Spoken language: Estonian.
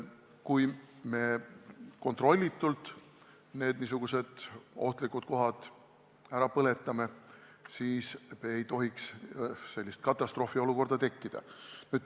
Kui me kontrollitult niisugustest ohtlikes kohtades põlenguid tekitame, siis ei tohiks sellest katastroofiolukorda tekkida.